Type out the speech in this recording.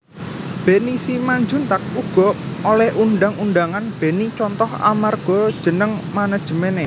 Benny Simanjuntak uga oleh undhang undhangan Benny Contoh amarga jeneng manajemené